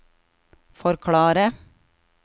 forklare